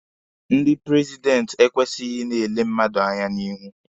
Ndị prezidenti ekwesighi i na-ele mmadụ anya n'ihu.